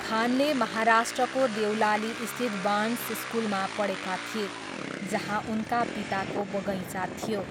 खानले महाराष्ट्रको देवलालीस्थित बार्न्स स्कुलमा पढेका थिए, जहाँ उनका पिताको बगैँचा थियो।